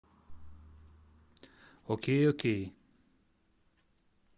окей окей